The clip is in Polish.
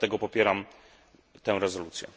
Dlatego popieram tę rezolucję.